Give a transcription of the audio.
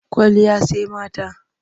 Kwalliya sai mata.